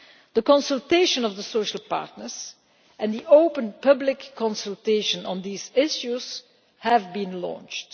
The consultation with the social partners and the open public consultation on these issues have been launched.